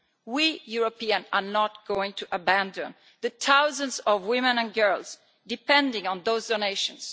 We Europeans are not going to abandon the thousands of women and girls depending on those donations.